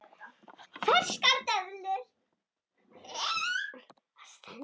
Ferskar döðlur